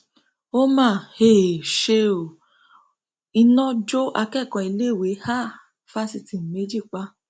ó mà um ṣe ó iná jó akẹkọọ iléèwé um fásitì méjì pa